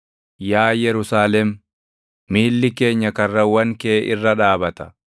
Yaa Yerusaalem, miilli keenya karrawwan kee irra dhaabata.